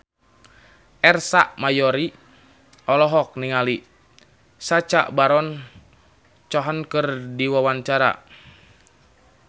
Ersa Mayori olohok ningali Sacha Baron Cohen keur diwawancara